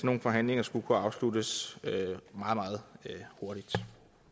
nogle forhandlinger skulle kunne afsluttes meget hurtigt